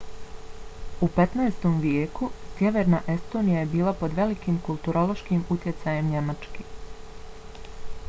u 15. vijeku sjeverna estonija je bila pod velikim kulturološkim utjecajem njemačke